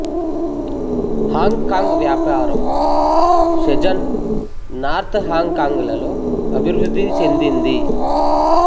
Hong Kong వ్యాపారం Shenzhen north Hong Kong లలో అభివృద్ధి చెందింది